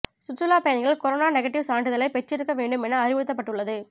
சுற்றுலா பயணிகள் corona negative சான்றிதழை பெற்றிருக்க வேண்டும் என அறிவுறுத்தப்பட்டுள்ளது